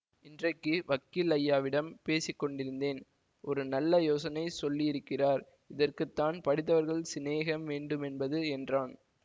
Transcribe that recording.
இன்றைக்கு வக்கீல் ஐயாவிடம் பேசி கொண்டிருந்தேன் ஒரு நல்ல யோசனை சொல்லியிருக்கிறார் இதற்குத்தான் படித்தவர்கள் சினேகம் வேண்டுமென்பது என்றான்